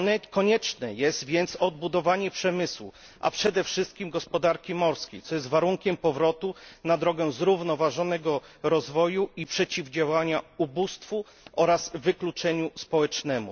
Konieczne jest więc odbudowanie przemysłu, a przede wszystkim gospodarki morskiej, co jest warunkiem powrotu na drogę zrównoważonego rozwoju i przeciwdziałania ubóstwu oraz wykluczeniu społecznemu.